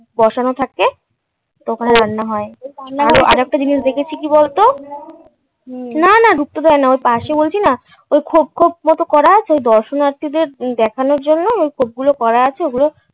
বসানো থাকে তো ওখানে রান্না হয় আরেকটা জিনিস দেখেছি কী বলত না না ঢুকতে দেয় না ওর পাশে বলছি না ওই খোঁপ খোঁপ মতো করা আছে দর্শনার্থীদের দেখানোর জন্যে ওই খোঁপ গুলো করা আছে ওই খোপগুলো